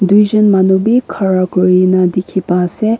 tuijon manu bi khara kurina dikhipa ase.